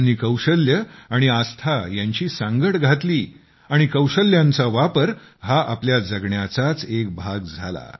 त्यांनी कौशल्ये आणि आस्था यांची सांगड घातली आणि कौशल्यांचा वापर हा आपल्या जगण्याचाच एक भाग झाला